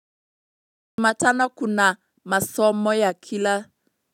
Matano kuna masomo ya kila.